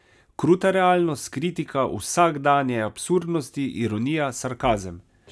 Kruta realnost, kritika vsakdanje absurdnosti, ironija, sarkazem.